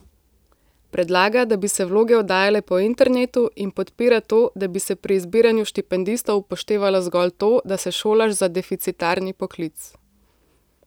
Predlaga, da bi se vloge oddajale po internetu, in podpira to, da bi se pri izbiranju štipendistov upoštevalo zgolj to, da se šolaš za deficitarni poklic.